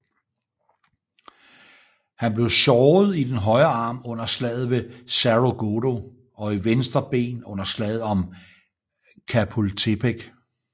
Han blev såret i den højre arm under slaget ved Cerro Gordo og i venstre ben under slaget om Chapultepec